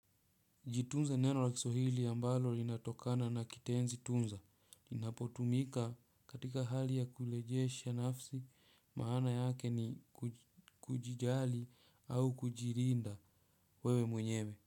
Jitunze ni neno la kiswahili ambalo linatokana na kitenzi tunza. Linapotumika katika hali ya kurejesha nafsi maana yake ni kujijali au kujilinda wewe mwenyewe.